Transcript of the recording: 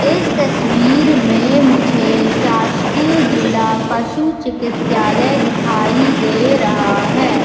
इस तस्वीर में मुझे शासकीय जिला पशु चिकित्सालय दिखाई दे रहा है।